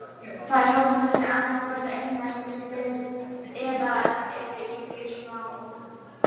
Þær halda sig annað hvort einar síns liðs eða eru í mjög smáum hópum.